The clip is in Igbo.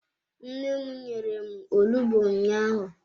Nne m nyere m onugbu ụnyaahụ.